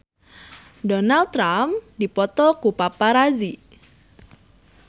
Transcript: Donald Trump dipoto ku paparazi